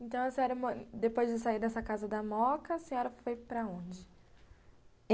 Então, a senhora, depois de sair dessa casa da Moca, a senhora foi para onde?